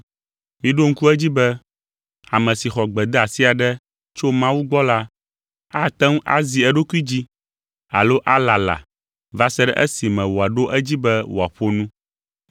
Miɖo ŋku edzi be ame si xɔ gbedeasi aɖe tso Mawu gbɔ la ate ŋu azi eɖokui dzi alo alala va se ɖe esime wòaɖo edzi be wòaƒo nu.